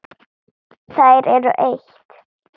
Þær eru eitt.